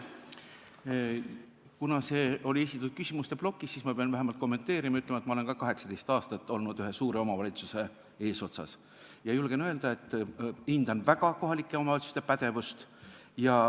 Kuna see väide oli esitatud küsimuste plokis, siis ma pean vähemalt kommenteerima ja ütlema, et ma olen ka 18 aastat olnud ühe suure omavalitsuse eesotsas ja julgen öelda, et hindan väga kohalike omavalitsuste pädevust.